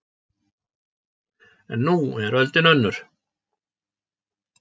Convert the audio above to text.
En nú er öldin önnur